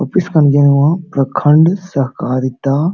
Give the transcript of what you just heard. office ᱠᱟᱱ ᱜᱤᱭᱟ ᱱᱚᱣᱟ ᱦᱚ ᱯᱨᱚᱠᱷᱚᱱᱰ ᱥᱚᱦᱠᱟᱨᱤᱛᱟ --